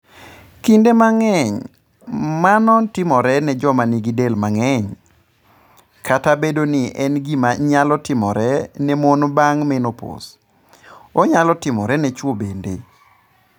Kinde mang'eny, mano timore ne joma nigi del mang'eny, Kata obedo ni en gima nyalo timore ne mon bang ' menopause, onyalo timore ne chwo bende.